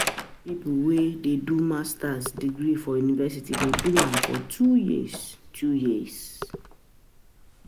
Pipo wey dey do Masters degree for university dey do am for two years, two years.